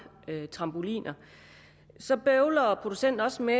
trampoliner så bøvler producenten også med